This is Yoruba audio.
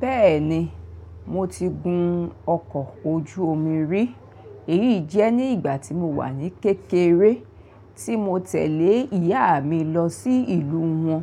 Bẹ́ẹ̀ni, mo ti gun ọkọ̀ ojú omi rí. Èyí jẹ́ ní ìgbà tí mo wà ní kékeré, tí mo tẹ̀lé ìyá mi lọ sí ìlú wọn,